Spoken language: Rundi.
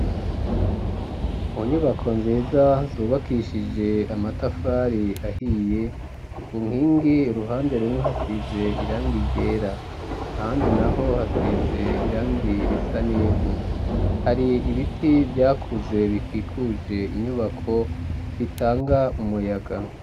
Mu nyubako nziza zubakishije amatafari ahiye ku nkingi ruhande rumwe hasize irangi ryera ahandi naho hasize irangi risa n'ivu hari ibiti vyakuze bikikujwe n'inyubako bitanga umuyaga.